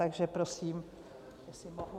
Takže prosím, jestli mohu.